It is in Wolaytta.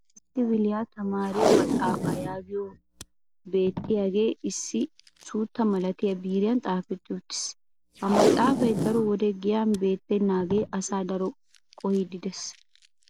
ussupuntta kifiliya tamaariyo maxaafaa yaagiyo beetiyaage issi suutta malattiya biiriyan xaafetti uttiis. ha maxaafay daro wode giyan bayzzetenaagee asaa dro qohiidi des.